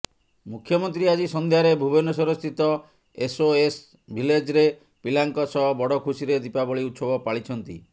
ମୁଖ୍ୟମନ୍ତ୍ରୀ ଆଜି ସନ୍ଧ୍ୟାରେ ଭୁବନେଶ୍ୱରସ୍ଥିତ ଏସଓଏସ୍ ଭିଲେଜରେ ପିଲାଙ୍କ ସହ ବଡଖୁସିରେ ଦୀପାବଳୀ ଉତ୍ସବ ପାଳିଛନ୍ତି